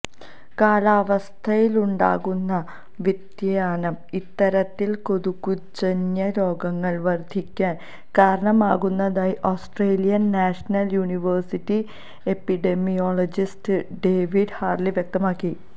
കാലാവസ്ഥയിലുണ്ടാകുന്ന വ്യതിയാനം ഇത്തരത്തിൽ കൊതുകുജന്യ രോഗങ്ങൾ വർധിക്കാൻ കാരണമാകുന്നതായി Australian National University epidemiologist David Harley വ്യക്തമാക്കി